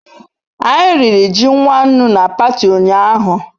Anyi riri ji nwannu na pati unyahu